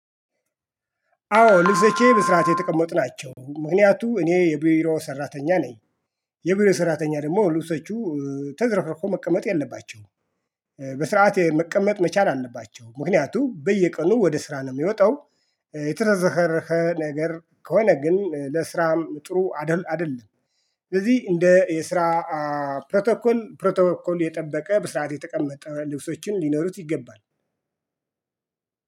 አዎ ልብሶቼ በስራአት የተቀመጡ ናቸው ምክንያቱም እኔ የቢሮ ሰራተኛ ነኝ። የቢሮ ሰራተኛ ደግሞ ልብሶቹ ተዘርክርኮ መቀመጥ የለባቸውም። በስርዓት መቀመጥ መቻል አለባቸው ምክንያቱም በየቀኑ ወደ ስራ ነው የሚወጣው። የተዝረከረከ ነገር ከሆነ ግን ለስራም ጥሩ አይደለም። ስለዚህ እንደ የስራ ፕሮቶኮል ፕሮቶኮል የጠበቀ ብስራአት የተቀመጠ ልብሶችም ሊኖሩት ይገባል።